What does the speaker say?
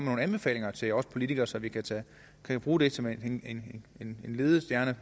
nogle anbefalinger til os politikere så vi kan kan bruge dem som en en ledestjerne